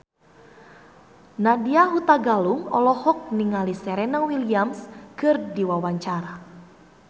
Nadya Hutagalung olohok ningali Serena Williams keur diwawancara